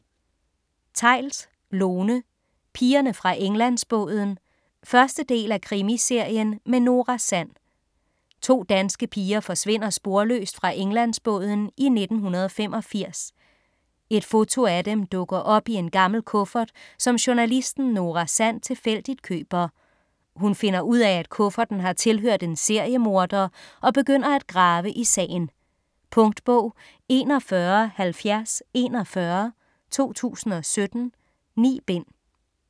Theils, Lone: Pigerne fra Englandsbåden 1. del af Krimiserien med Nora Sand. To danske piger forsvinder sporløst fra Englandsbåden i 1985. Et foto af dem dukker op i en gammel kuffert, som journalisten Nora Sand tilfældigt køber. Hun finder ud af, at kufferten har tilhørt en seriemorder, og begynder at grave i sagen. Punktbog 417041 2017. 9 bind.